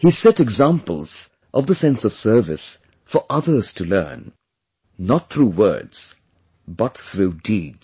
He set examples of the sense of service for others to learn not through words, but through deeds